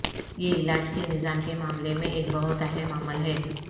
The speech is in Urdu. یہ علاج کے نظام کے معاملے میں ایک بہت اہم عمل ہے